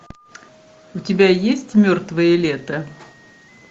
у тебя есть мертвое лето